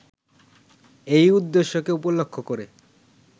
এই উদ্দেশ্যকে উপলক্ষ করে